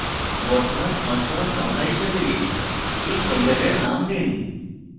বর্তমান সংস্করণ সংখ্যা হিসাবে এই folder name দিন